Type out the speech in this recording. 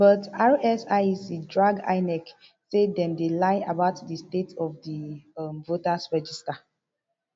but rsiec drag inec say dem dey lie about di state of di um voters register